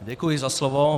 Děkuji za slovo.